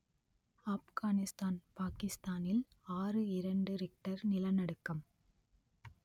ஆப்கானிஸ்தான் பாகிஸ்தானில் ஆறு இரண்டு ரிக்டர் நிலநடுக்கம்